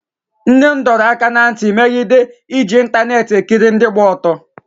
nne m dọrọ aka ná ntị megide iji ịntaneetị ekiri ndị gba ọtọ